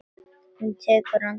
Hún tekur andköf.